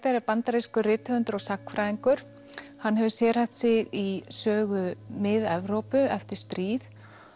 er bandarískur rithöfundur og sagnfræðingur hann hefur sérhæft sig í sögu Mið Evrópu eftir stríð